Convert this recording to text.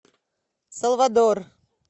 салвадор